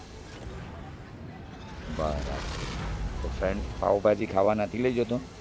બરાબર તો friend પાવભાજી ખાવા નથી લઇ જતો